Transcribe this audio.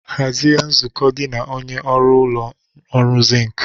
Hazie nzukọ gị na onye ọrụ ụlọ ọrụ zinc.